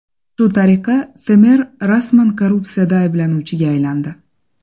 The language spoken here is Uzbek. Shu tariqa, Temer rasman korrupsiyada ayblanuvchiga aylandi.